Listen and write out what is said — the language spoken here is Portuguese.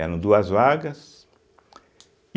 Eram duas vagas.